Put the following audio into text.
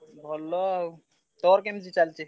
ଭଲ ଆଉ ତୋର କେମିତି ଚାଲଚି?